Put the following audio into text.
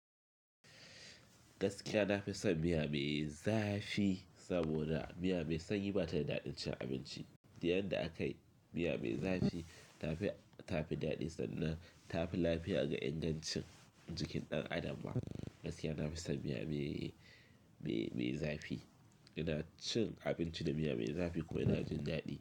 Gaskiya nafi son miya me zafi saboda miya mai sanyi bata daɗin cin abinci. Da yanda akayi miya me zafi tafi, tafi daɗi sannan tafi lafiya ga ingancin jikin ɗan adam ba. Gaskiya nafi son miya me, me, me zafi. Ina cin abinci da miya me zafi kuma yana jin daɗi.